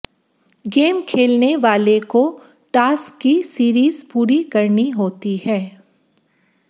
game खेलने वाले को टास्क की सीरीज पूरी करनी होती है